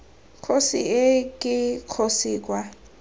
kgosi ii ke kgosi kwa